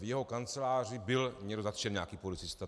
V jeho kanceláři byl někdo zatčený, nějaký policista.